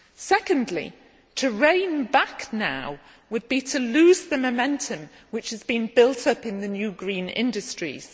Secondly, to rein back now would be to lose the momentum which has been built up in the new green industries.